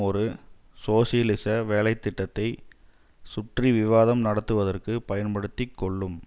ஒரு சோசியலிச வேலை திட்டத்தை சுற்றி விவாதம் நடத்துவதற்கு பயன்படுத்தி கொள்ளும்